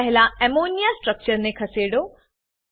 પહેલા અમોનિયા સ્ટ્રક્ચરને ખસેડો